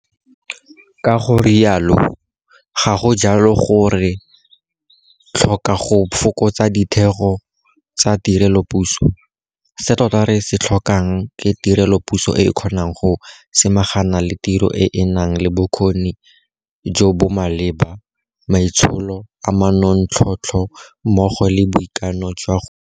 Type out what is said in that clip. Ka go rialo, ga go jalo gore re tlhoka go fokotsa ditheo tsa tirelopuso - se tota re se tlhokang ke tirelopuso e e kgonang go samagana le tiro e e nang le bokgoni jo bo maleba, maitsholo a manontlhotlho mmogo le boikano jwa go direla setšhaba.